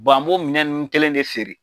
an b'o minɛn ninnu kelen de feere.